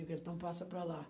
Eu digo, então passa para lá.